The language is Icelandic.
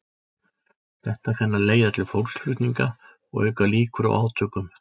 Þetta kann að leiða til fólksflutninga og auka líkur á átökum.